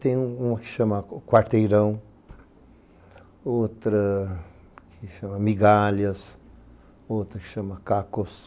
Tem uma que se chama Quarteirão, outra que se chama Migalhas, outra que se chama Cacos.